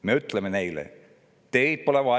Me ütleme neile: "Teid pole vaja.